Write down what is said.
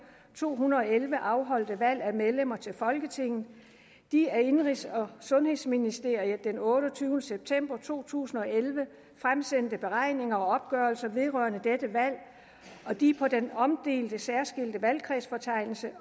tusind og elleve afholdte valg af medlemmer til folketinget de af indenrigs og sundhedsministeriet den otteogtyvende september to tusind og elleve fremsendte beregninger og opgørelser vedrørende dette valg og de på den omdelte særskilte valgkredsfortegnelse